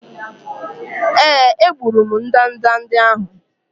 Èé, egburu m ndanda ndị ahụ.